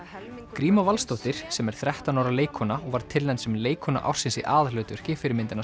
gríma Valsdóttir sem er þrettán ára leikkona hún var tilnefnd sem leikkona ársins í aðalhlutverki fyrir myndina